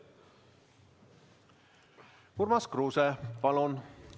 Urmas Kruuse, palun!